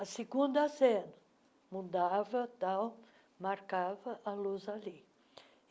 A segunda cena, mudava tal, marcava a luz ali.